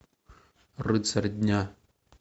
рыцарь дня